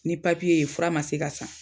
Ni ye fura ma se ka san.